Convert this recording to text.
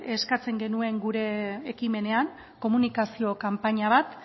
eskatzen genuen gure ekimenean komunikazio kanpaina bat